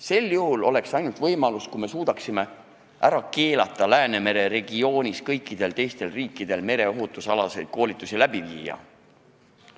See tuleks kõne alla ainult siis, kui me suudaksime ära keelata Läänemere regioonis kõikidel teistel riikidel mereohutusalaseid koolitusi läbi viia.